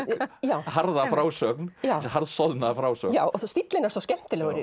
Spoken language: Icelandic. harða frásögn þessi harðsoðna frásögn stíllinn er svo skemmtilegur í